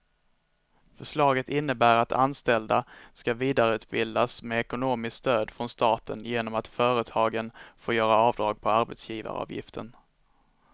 Förslaget innebär att anställda ska vidareutbildas med ekonomiskt stöd från staten genom att företagen får göra avdrag på arbetsgivaravgiften.